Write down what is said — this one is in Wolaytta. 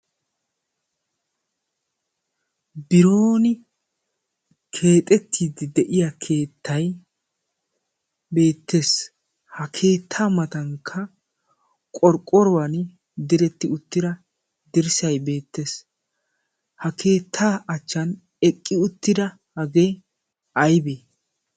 bironi keexettiiddi de'iya keettai beettees. ha keettaa matankka qorqqoruwan diretti uttida dirssay beettees. ha keettaa achchan eqqi uttida hagee aybee?